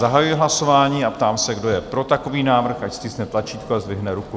Zahajuji hlasování a ptám se, kdo je pro takový návrh, ať stiskne tlačítko a zdvihne ruku.